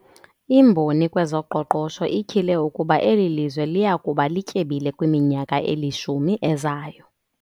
Imboni kwezoqoqosho ityhile ukuba eli lizwe liya kuba lityebile kwiminyaka elishumi ezayo.